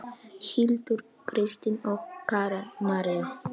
Hildur, Kristín og Karen María.